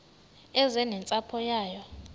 eze nentsapho yayo